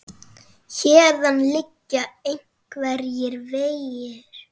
Héðan liggja engir vegir.